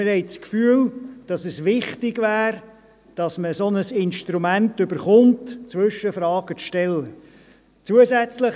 Wir haben das Gefühl, es wäre wichtig, dass man ein solches Instrument, um Zwischenfragen zu stellen, erhält.